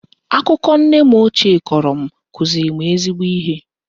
Akụkọ nne m ochie kọrọ m kụziri m ezigbo ihe